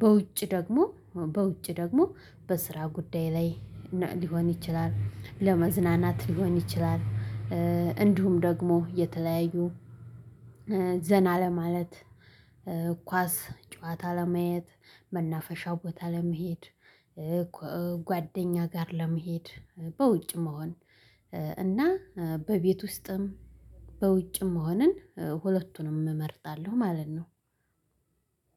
በውጭ ደግሞ በውጭ ደግሞ በስራ ጉዳይ ላይ ሊሆን ይችላል ለመዝናናት ሊሆን ይችላል። እንዲሁም ደግሞ የተለያዩ ዘና ለማለት ኳስ ጨዋታ ለማየት መናፈሻው ቦታ ለመሄድ። ጓደኛ ጋር ለመሄድ በውጭ መሆን። እና በቤት ውስጥም በውጭ መሆንን ሁለቱንም እመርጣለሁ ማለት ነው።